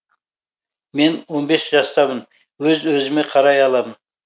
мен он бес жастамын өз өзіме қарай аламын